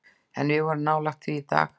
En við vorum nálægt því í dag.